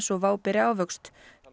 og WOW beri ávöxt